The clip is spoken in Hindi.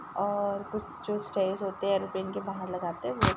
और कुछ स्तैर्स होते है एयरोप्लेन के बहार लगाते है वो --